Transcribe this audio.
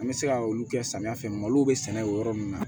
An bɛ se ka olu kɛ samiya fɛ malo bɛ sɛnɛ o yɔrɔ ninnu na